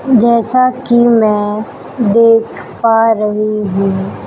जैसा कि मैं देख पा रही हूं--